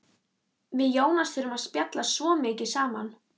Við Jónas þurftum að spjalla svo mikið saman.